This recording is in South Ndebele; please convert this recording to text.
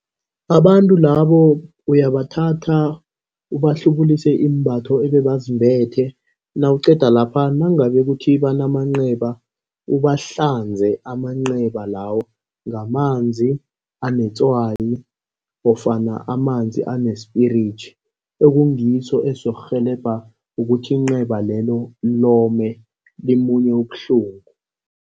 Abantu labo uyabathatha ubahlubulise iimbatho ebebazimbethe nawuqeda lapha nangabe kuthi banamanceba, ubahlanze amanceba lawo ngamanzi anetswayi ofana amanzi ane-spirit. Ekungiso esizokurhelebha ukuthi inceba lelo lome limunye ubuhlungu.